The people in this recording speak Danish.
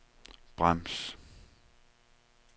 brems